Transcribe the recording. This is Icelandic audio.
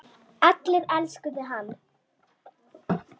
Allir elskuðu hann.